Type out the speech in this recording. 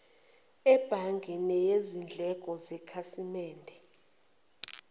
ebhange neyizindleko zekhasimende